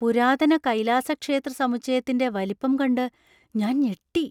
പുരാതന കൈലാസ ക്ഷേത്ര സമുച്ചയത്തിന്‍റെ വലിപ്പം കണ്ട് ഞാൻ ഞെട്ടി.